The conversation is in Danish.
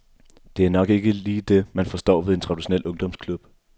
Det er nok ikke lige det man forstår ved en traditionel ungdomsklub.